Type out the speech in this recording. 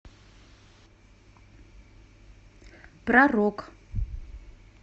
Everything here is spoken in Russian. про рок